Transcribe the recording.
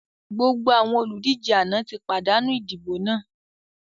Gbogbo àwọn olùdíje àná ti pàdánù idibo náà!